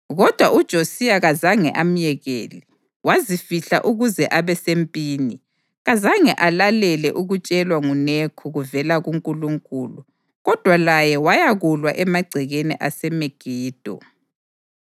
Kodwa uJosiya kazange amyekele, wazifihla ukuze abe sempini. Kazange alalele akutshelwa nguNekho kuvela kuNkulunkulu kodwa laye wayakulwa emagcekeni aseMegido.